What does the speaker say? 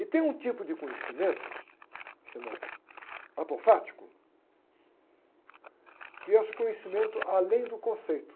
E tem um tipo de conhecimento, chama apofático, que é esse conhecimento além do conceito.